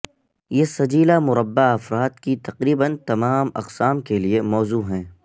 یہ سجیلا مربع افراد کی تقریبا تمام اقسام کے لئے موزوں ہیں